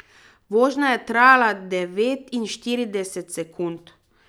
Vožnja je trajala devetinštirideset sekund.